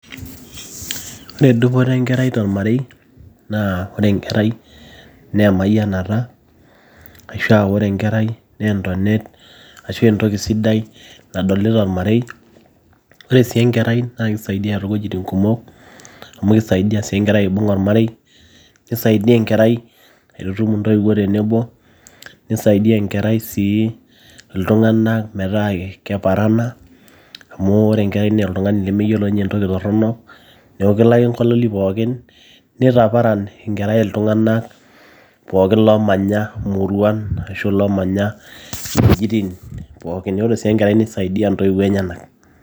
ore dupoto enkerai tormarei naa ore enkerai naa emayianata ashua ore enkerai naa entonet ashua entoki sidai nadoli tolmarei ore sii enkerai naa kisaidia toowuejitin kumok amu kisaidia sii enkerai aibung olmarei kisaidia enkerai aitutum intoiwuo tenebo nisaidia enkerai sii iltung'anak metaa keparana amu ore enkerai naa oltung'ani lemeyiolo ninye entoki torrono neeku kelo ake nkaloli pookin nitaparan enkerai iltung'anak pookin loomanya muruan ashu loomanya wuejitin pookin ore sii enkerai nisaidia intoiwuo enyenak.